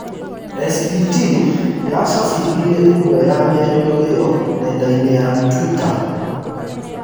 SBT yacabithirie ĩmwe ya mĩario iyo nendainĩ ya Twitter